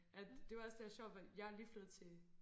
At det var det der sjovt fordi jeg er lige flyttet til